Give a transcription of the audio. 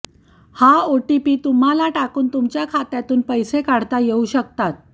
हा ओटीपी तुम्हाला टाकून तुमच्या खात्यातून पैसे काढता येऊ शकतात